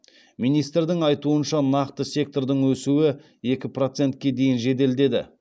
министрдің айтуынша нақты сектордың өсуі екі процетке дейін жеделдеді